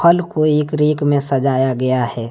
फल को एक रेक में सजाया गया है।